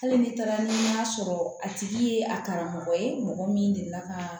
Hali ni taara n'a sɔrɔ a tigi ye a karamɔgɔ ye mɔgɔ min delila ka